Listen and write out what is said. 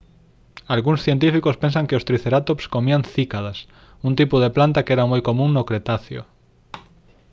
algúns científicos pensan que os tricerátops comían cícadas un tipo de planta que era moi común no cretáceo